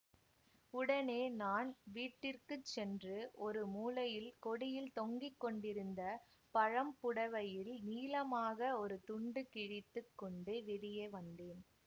உடனே நான் வீட்டிற்குச் சென்று ஒரு மூலையில் கொடியில் தொங்கி கொண்டிருந்த பழம் புடைவையில் நீளமாக ஒரு துண்டு கிழித்து கொண்டு வெளியே வந்தேன்